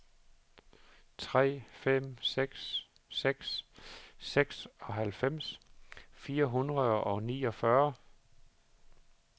tre fem seks seks seksoghalvfems fire hundrede og niogfyrre